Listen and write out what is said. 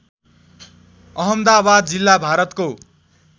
अहमदाबाद जिल्ला भारतको